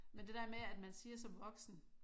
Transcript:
Men det dér med at man siger som voksen